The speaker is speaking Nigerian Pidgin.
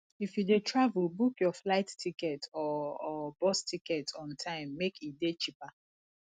if you de travel book your flight ticket or or bus ticket on time make e de cheaper